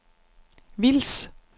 Vils